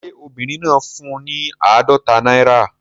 Ṣé obìnrin náà fún un ní àádọ́ta náírà?